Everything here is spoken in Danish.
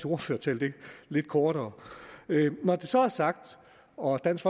ordførertale lidt kortere når det så er sagt og dansk